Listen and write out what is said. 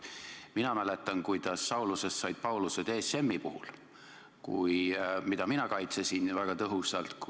Mina mäletan, kuidas Saulustest said Paulused ESM-i puhul, mida mina kaitsesin väga tõhusalt.